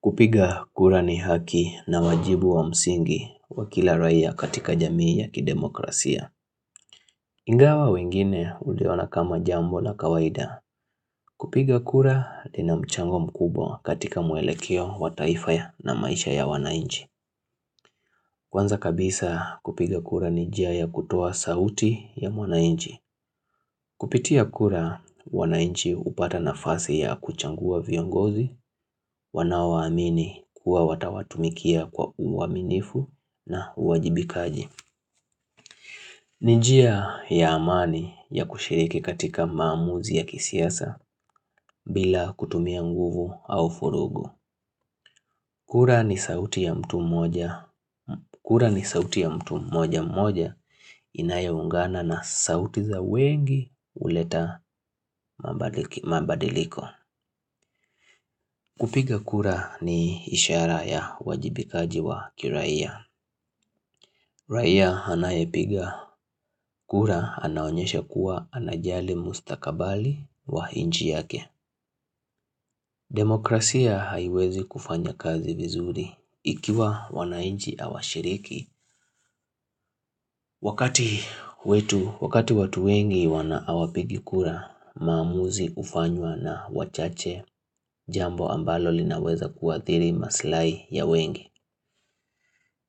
Kupiga kura ni haki na wajibu wa msingi wa kila rahia katika jamii ya kidemokrasia. Ingawa wengine uliona kama jambo na kawaida. Kupiga kura ina mchango mkubwa katika mwelekeo wa taifa ya na maisha ya wanainji. Kwanza kabisa kupiga kura ni njia ya kutuoa sauti ya wanainji. Kupitia kura wanainchi upata nafasi ya kuchagua viongozi. Wanaowaamini kuwa watawatumikia kwa uaminifu na uwajibikaji Nijia ya amani ya kushiriki katika maamuzi ya kisiyasa bila kutumia nguvu au vurugu kura ni sauti ya mtu mmoja mmoja Inayoungana na sauti za wengi uleta mabadiliko kupiga kura ni ishara ya uwajibikaji wa kirahia Rahia anayepiga kura anaonyesha kuwa anajali mustakabali wa inchi yake. Demokrasia haiwezi kufanya kazi vizuri ikiwa wanainchi hawashiriki. Wakati wetu, wakati watu wengi hawapigi kura mamuzi ufanywa na wachache jambo ambalo linaweza kuathiri maslahi ya wengi.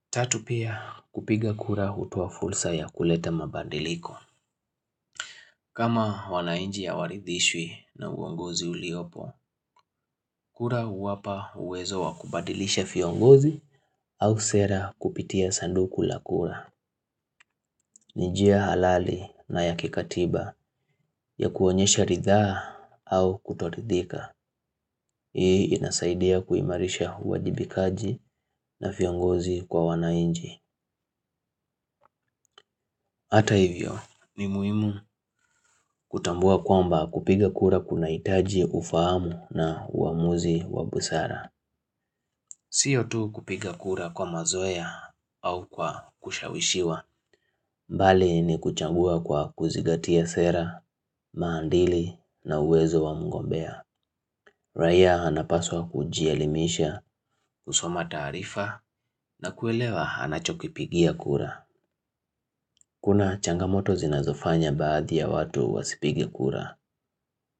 Tatu pia kupiga kura hutoa fursa ya kuleta mabadiliko. Kama wanainchi hawaridhishwi na uongozi uliopo, kura wapa uwezo wa kubadilisha viongozi au sera kupitia sanduku la kura. Ni njia halali na ya kikatiba ya kuonyesha rithaa au kutoridhika. Hii inasaidia kuimarisha uwajibikaji na viongozi kwa wanainchi. Hata hivyo ni muimu kutambua kwamba kupiga kura kunahitaji ufahamu na uamuzi wa busara. Sio tu kupiga kura kwa mazoea au kwa kushawishiwa. Mbali ni kuchagua kwa kuzigatia sera, maadili na uwezo wa mgombea. Raia anapaswa kujielimisha, kusoma taarifa na kuelewa anachokipigia kura. Kuna changamoto zinazofanya baadhi ya watu wasipigie kura.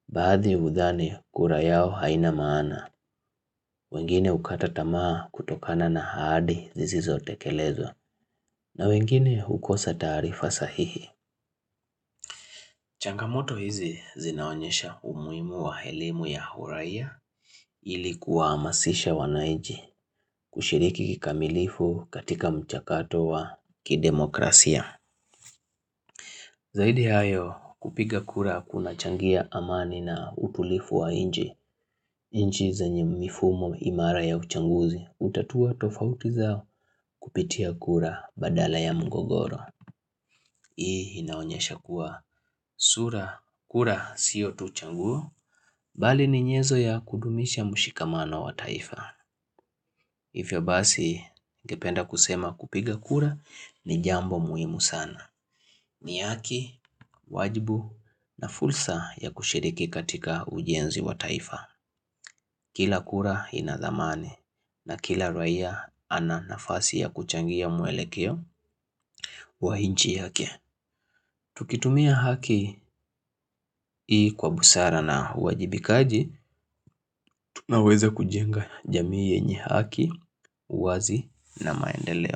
Baadhi hudhani kura yao haina maana. Wengine ukata tamaa kutokana na ahadhi zizizo tekelezwa. Na wengine hukosa taarifa sahihi changamoto hizi zinaonyesha umuhimu wa elimu ya uraia ili kuwahamasisha wanaiji kushiriki kikamilifu katika mchakato wa kidemokrasia Zaidi ya hayo kupiga kura kuna changia amani na utulivu wa inchi inchi zenye mifumo imara ya uchanguzi utatua tofauti zao kupitia kura badala ya mgogoro Hii inaonyesha kuwa sura kura siyo tu changuo Bali ni nyezo ya kudumisha mushikamano wa taifa Hivyo basi ningependa kusema kupiga kura ni jambo muhimu sana ni haki, wajibu na fursa ya kushiriki katika ujienzi wa taifa Kila kura inadhamani na kila raia ana nafasi ya kuchangia mwelekeo wa inchi yake Tukitumia haki ii kwa busara na uwajibikaji Tunaweza kujenga jamii yenye haki, wazi na maendeleo.